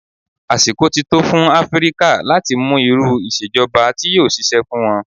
Àsìkò ti tó fún Áfríkà láti mú irú ìṣèjọba tí yóò ṣiṣẹ́ fún wọn.